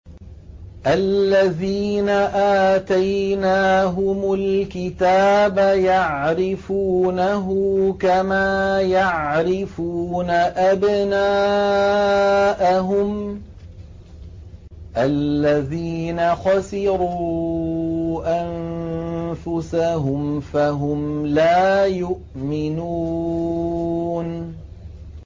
الَّذِينَ آتَيْنَاهُمُ الْكِتَابَ يَعْرِفُونَهُ كَمَا يَعْرِفُونَ أَبْنَاءَهُمُ ۘ الَّذِينَ خَسِرُوا أَنفُسَهُمْ فَهُمْ لَا يُؤْمِنُونَ